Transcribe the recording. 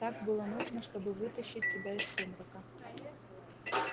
так было нужно чтобы вытащить тебя из сумрака